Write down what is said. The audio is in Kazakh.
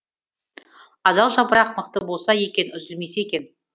адал жапырақ мықты болса екен үзілмесе екен